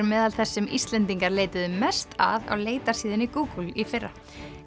meðal þess sem Íslendingar leituðu mest að á Google í fyrra